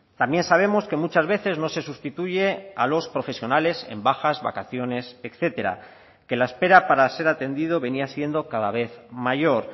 también sabemos que muchas veces no se sustituye a los profesionales en bajas vacaciones etcétera que la espera para ser atendido venía siendo cada vez mayor